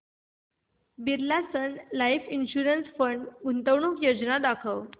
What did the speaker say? Birla Sun Life Mutual Fund गुंतवणूक योजना दाखव